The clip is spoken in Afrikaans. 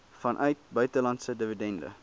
vanuit buitelandse dividende